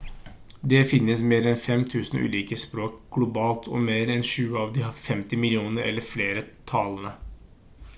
det finnes mer enn 5000 ulike språk globalt og mer enn tjue av de har 50 millioner eller flere talende